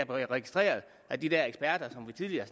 registreret af de der eksperter som vi tidligere